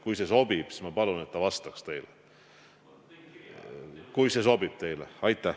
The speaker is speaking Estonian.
Kui see sobib, siis ma palun, et ta vastaks teile.